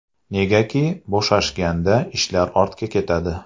Negaki bo‘shashganda ishlar ortga ketadi.